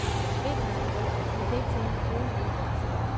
Vinteren er frygtelig, vi kan ikke tjene en krone uden for sæsonen.